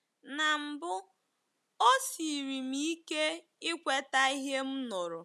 Na mbụ, o siiri m ike ikweta ihe m nụrụ.